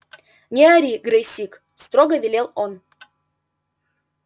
не ори грэйсик строго велел он